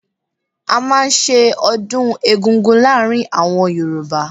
A máa ń ṣe ọdún eggúngún láàárín àwọn Yorùbá.